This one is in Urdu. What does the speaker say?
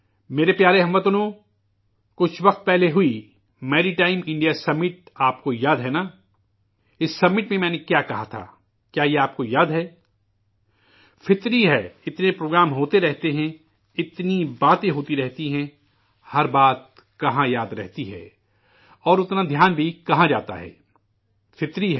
میرے پیارے ہم وطنو، کچھ عرصہ قبل ہوئی میری ٹائم انڈیا سمٹ آپ کو یاد ہے نا ؟ اس سمّٹ میں میں نے کیا کہا تھا، کیا یہ آپ کو یاد ہے ؟ قدرتی ہے، اتنے پروگرام ہوتے رہتے ہیں، اتنی باتیں ہوتی رہتی ہیں، ہر بات کہاں یاد رہتی ہیں اور اتنا دھیان بھی کہاں جاتا ہے فطری عمل ہے